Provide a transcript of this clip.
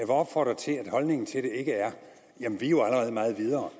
opfordre til at holdningen til det ikke er jamen vi er jo allerede meget videre